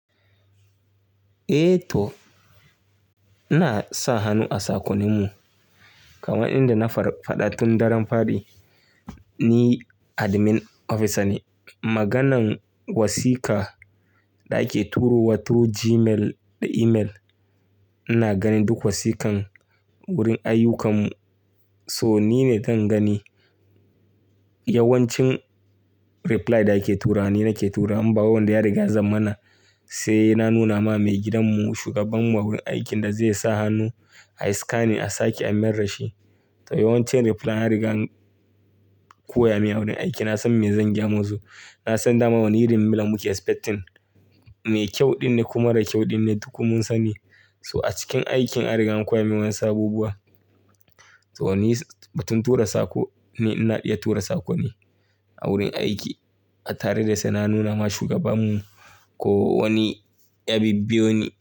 Eh toh, ina sa hannu a sakonimu kamar inda na faɗa tun daren fari. Ni Admin Officer ne. Maganan wasiƙa da ake turo wa through Gmail da email, ina ganin duk wasiƙan wurin ayyukarmu. So ni ne zan gani yawancin reply da ake tura wa, ni nake tura wa. In ba wai wanda ya riga ya zamana sai na nuna ma maigidanmu shugaban mu wurin aikin da zai sa hannu a yi scanning, a sake a mayar da shi. Yawancin reply an riga an koya min wurin aikin. Na san me zan gyamu su, na san dama wani irin mila muke expecting. Mai kyau ɗin ne ko mara kyau ɗin ne duk mun sani. So a cikin aikin an riga an koya min wasu abubuwa. Toh ni butun tura saƙo, ni ina iya tura saƙo ne a wurin aiki. Tare da sai na nuna ma shugabamu ko wani ya bibbeo ni.